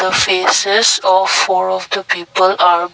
the faces of four of the people are--